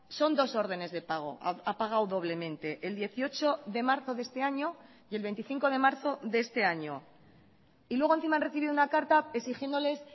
son dos órdenes de pago ha pagado doblemente el dieciocho de marzo de este año y el veinticinco de marzo de este año y luego encima han recibido una carta exigiéndoles